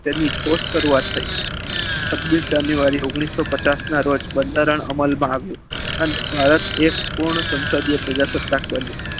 તેની ઠોસ શરૂઆત થઈ છવ્વીસ જાન્યુઆરી ઓગણીસો પચાસ ના રોજ બંધારણ અમલમાં આવ્યું અને એક ભારત એક પૂર્ણ સંસદીય પ્રજાસત્તાક બન્યું.